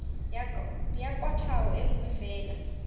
ya kwatlhao e nngwe fela